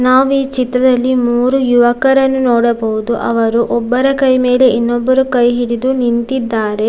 ನಾವು ಈ ಚಿತ್ರದಲ್ಲಿ ಮೂರು ಯುವಕರನ್ನು ನೋಡಬಹುದು ಅವರು ಒಬ್ಬರ ಕೈಮೆಲೆ ಇನ್ನೊಬ್ಬರು ಕೈ ಹಿಡಿದು ನಿಂತಿದ್ದಾರೆ.